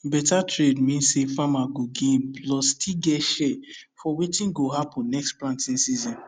better trade mean say farmer go gain plus still get share for wetin go happen next planting season